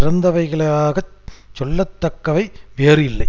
சிறந்தவைகளாகச் சொல்லத்தக்கவை வேறு இல்லை